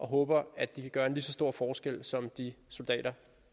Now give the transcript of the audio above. håber at de vil gøre en lige så stor forskel som de soldater